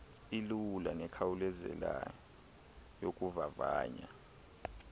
ilula nekhawulezayo yokuvavanya